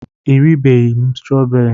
E ribeghị m strooberi.